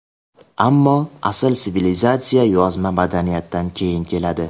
Ammo asl sivilizatsiya yozma madaniyatdan keyin keladi.